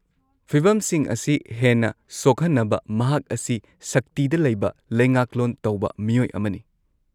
-ꯐꯤꯕꯝꯁꯤꯡ ꯑꯁꯤ ꯍꯦꯟꯅ ꯁꯣꯛꯍꯟꯅꯕ, ꯃꯍꯥꯛ ꯑꯁꯤ ꯁꯛꯇꯤꯗ ꯂꯩꯕ ꯂꯩꯉꯥꯛꯂꯣꯟ ꯇꯧꯕ ꯃꯤꯑꯣꯏ ꯑꯃꯅꯤ꯫